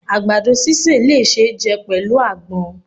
agbadọ síse le ṣe jẹ pẹlu agbòn